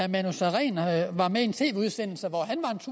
manu sareen var med i en tv udsendelse